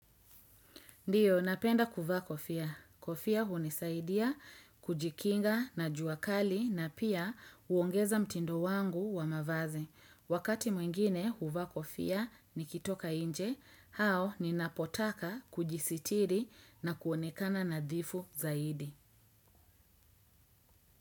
Ndiyo, napenda kuvaa kofia. Kofia hunisaidia, kujikinga na juakali na pia uongeza mtindo wangu wa mavazi. Wakati mwingine huvaa kofia nikitoka nje, au ninapotaka kujisitiri na kuonekana nadhifu zaidi.